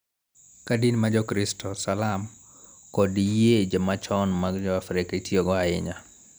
Ka din ma Jokristo, Salam, kod yie machon mag Joafrika itiyogo ahinya.